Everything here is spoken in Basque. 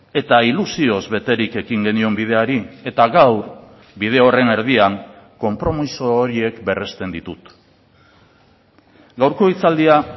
eta ilusioz beterik ekin genion bideari eta gaur bide horren erdian konpromiso horiek berresten ditut gaurko hitzaldia